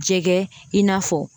Jɛgɛ i n'a fɔ